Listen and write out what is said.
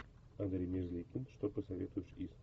андрей мерзликин что посоветуешь из